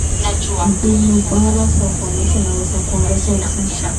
Mbinu bora za uvunaji zinaweza kuongeza uzalishaji.